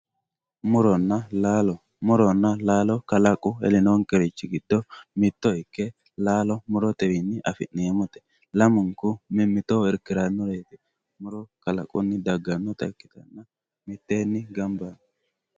muronna laalo muronna laalo kalaqu elnonkerichi giddo mitto ikke laalo murotewiinni afi'neemote lamunku mimitoho irkirannoreeti kalaqunni daggannota ikkite miteeni gamba